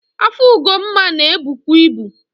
Afọ Ugonma na ebukwu ibu.